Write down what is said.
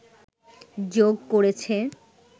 যোগ করেছে